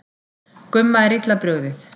Gumma er illa brugðið.